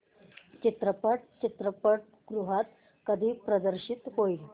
चित्रपट चित्रपटगृहात कधी प्रदर्शित होईल